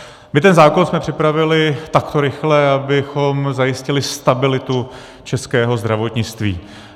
My ten zákon jsme připravili takto rychle, abychom zajistili stabilitu českého zdravotnictví.